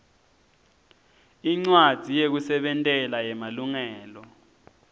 incwadzi yekusebentela yemalungelo